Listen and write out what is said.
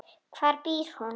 Hvar býr hún?